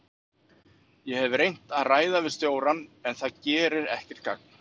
Ég hef reynt að ræða við stjórann en það gerir ekkert gagn.